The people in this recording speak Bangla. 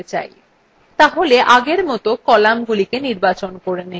তাহলে আগের মত কলামগুলি নির্বাচন করে so